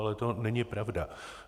Ale to není pravda.